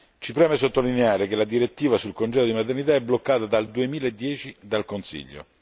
Ci preme sottolineare che la direttiva sul congedo di maternità è bloccata dal 2010 dal Consiglio.